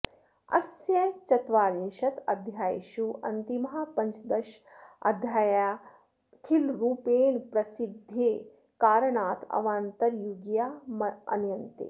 अस्य चत्वारिंशदध्यायेषु अन्तिमाः पञ्चदशाध्यायाः खिलरूपेण प्रसिद्धेः कारणात् अवान्तरयुगीया मन्यन्ते